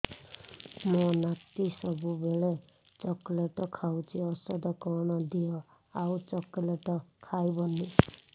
ମୋ ନାତି ସବୁବେଳେ ଚକଲେଟ ଖାଉଛି ଔଷଧ କଣ ଦିଅ ଆଉ ଚକଲେଟ ଖାଇବନି